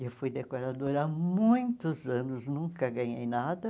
Eu fui decoradora há muitos anos, nunca ganhei nada.